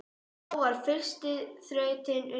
Þá var fyrsta þrautin unnin.